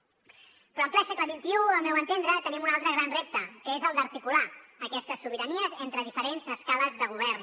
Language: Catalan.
però en ple segle xxi al meu entendre tenim un altre gran repte que és el d’articular aquestes sobiranies entre diferents escales de govern